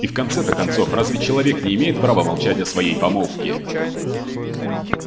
и в конце-то концов разве человек не имеет права молчать о своей помолвке